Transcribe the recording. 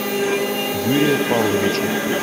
юрия павловича